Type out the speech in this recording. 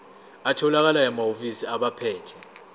atholakala emahhovisi abaphethe